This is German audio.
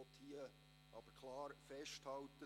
Ich will hier aber klar festhalten: